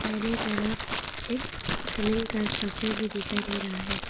दाहिने तरफ एक स्विमिंग का स्ट्रक्चर भी दिखाई दे रहा है।